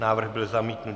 Návrh byl zamítnut.